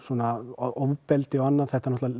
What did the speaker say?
ofbeldi og annað það